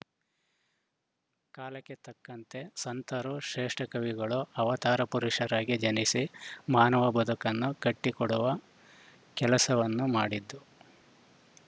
ಕಾಲಕ್ಕೆ ತಕ್ಕಂತೆ ಸಂತರು ಶ್ರೇಷ್ಟಕವಿಗಳು ಅವತಾರ ಪುರುಷರಾಗಿ ಜನಿಸಿ ಮಾನವನ ಬದುಕನ್ನು ಕಟ್ಟಿಕೊಡುವ ಕೆಲಸವನ್ನು ಮಾಡಿದ್ದು